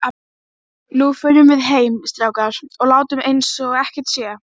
Þegar var búið að bjarga menningararfinum.